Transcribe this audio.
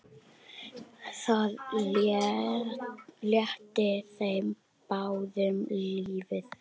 Það létti þeim báðum lífið.